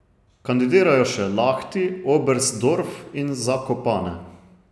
Kandidirajo še Lahti, Oberstdorf in Zakopane.